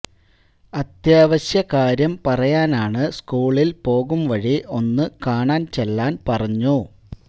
അത്യാവശ്യകാര്യം പറയാനാണ് സ്കൂളില് പോകും വഴി ഒന്നു കാണാന് ചെല്ലാന് പറഞ്ഞു